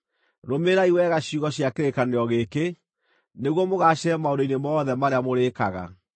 Rũmĩrĩrai wega ciugo cia kĩrĩkanĩro gĩkĩ, nĩguo mũgaacĩre maũndũ-inĩ mothe marĩa mũrĩĩkaga.